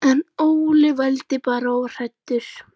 En Óli vældi bara og var hræddur.